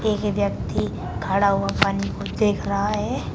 एक व्यक्ति खड़ा हुआ पानी को देख रहा है।